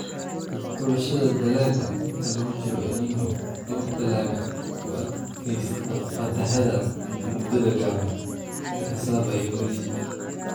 Xulashada Dalagga Inta lagu jiro El Niño, door dalagga u adkaysta fatahaadaha muddada gaaban, sida Cassava iyo bariiska.